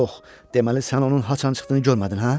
Yox, deməli sən onun haçan çıxdığını görmədin, hə?